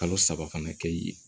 Kalo saba fana kɛ yen